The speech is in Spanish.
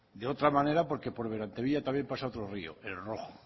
de otra manera porque por berantevilla también pasa otro rio el rojo